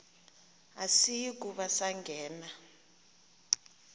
asiyi kuba sangena